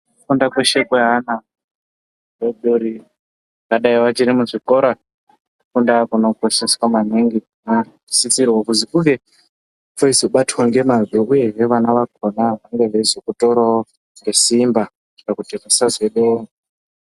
Kufunda kweshe kwaana adodori vangadai vachiri muzvikora kufunda kunokosheswa maningi vanksisrwa kuzi kunge kweizobatwa ngemazvo uyesve vana vakhona vange veizokutorawo ngesimba kuitire kuti kusazodiwa.